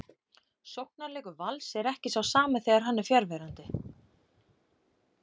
Sóknarleikur Vals er ekki sá sami þegar hann er fjarverandi.